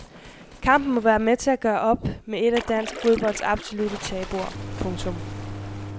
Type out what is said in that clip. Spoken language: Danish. Kampen må være med til at gøre op med et af dansk fodbolds absolutter tabuer. punktum